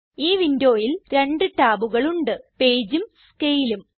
ഈ വിൻഡോയിൽ രണ്ട് ടാബുകൾ ഉണ്ട് Pageഉം Scaleഉം